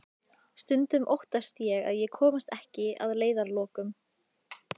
Stundum óttast ég að ég komist ekki að leiðarlokum.